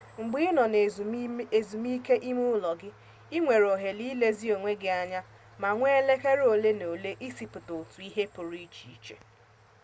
mgbe ị nọ na ezumike ime ụlọ i nwere ohere ịlezi onwe gị anya ma were elekere ole na ole isipụta otu ihe pụrụ iche